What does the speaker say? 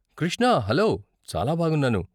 Krishna, hello. చాలా బాగున్నాను.